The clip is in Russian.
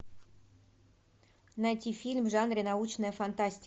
найти фильм в жанре научная фантастика